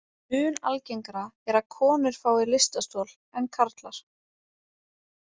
Mun algengara er að konur fái lystarstol en karlar.